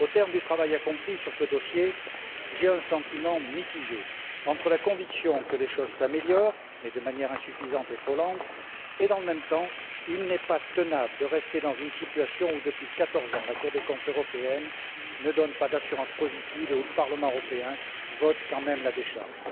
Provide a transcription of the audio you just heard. Au terme du travail accompli sur ce dossier, j'ai un sentiment mitigé entre la conviction que les choses s'améliorent, mais de manière insuffisante et trop lente, et le fait que, dans le même temps, il n'est pas tenable de rester dans une situation où, depuis quatorze ans, la Cour des comptes européenne ne donne pas d'assurance positive et où le Parlement européen vote quand même la décharge.